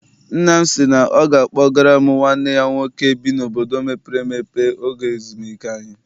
Nna m sị na ọ ga a kpọgara m nwanne ya nwoke bi n'obodo mepere emepe oge ezumike anyị.